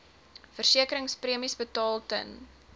versekeringspremies betaal ten